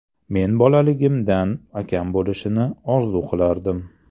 Men bolaligimdan akam bo‘lishini orzu qilardim.